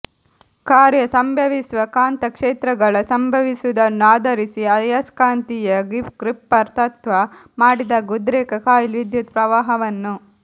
ಕಾರ್ಯ ಸಂಭವಿಸುವ ಕಾಂತಕ್ಷೇತ್ರಗಳ ಸಂಭವಿಸುವುದನ್ನು ಆಧರಿಸಿ ಆಯಸ್ಕಾಂತೀಯ ಗ್ರಿಪ್ಪರ್ ತತ್ವ ಮಾಡಿದಾಗ ಉದ್ರೇಕ ಕಾಯಿಲ್ ವಿದ್ಯುತ್ ಪ್ರವಾಹವನ್ನು